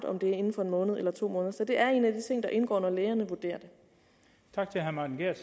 om det er inden for en måned eller to måneder så det er en af de ting der indgår når lægerne vurderer